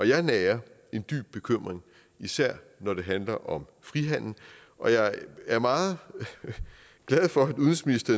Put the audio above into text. jeg nærer en dyb bekymring især når det handler om frihandel og jeg er meget glad for